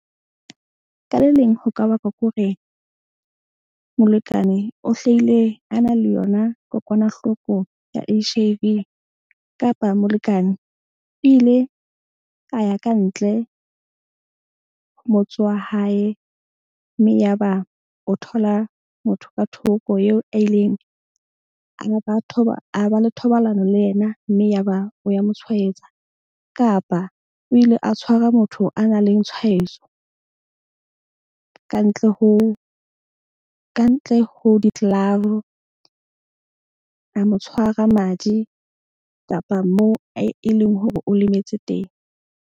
Ka le leng ho ka bakwa ke hore molekane o hlaile a na le yona kokwanahloko ya H_I_V kapa molekane o ile a ya kantle motse wa hae. Mme ya ba o thola motho ka thoko eo a ileng a ba le thobalano le yena mme ya ba o ya mo tshwaetsa. Kapa o ile a tshwara motho a na leng tshwaetso kantle ho di-glove a mo tshwara madi kapa moo e leng hore o lemetse teng.